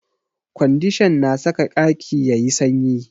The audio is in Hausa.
Ƙwandishan na saka ƙaki yayi sanyi